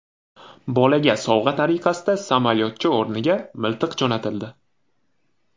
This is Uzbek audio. Bolaga sovg‘a tariqasida samolyotcha o‘rniga miltiq jo‘natildi.